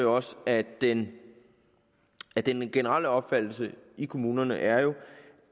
også at den at den generelle opfattelse i kommunerne er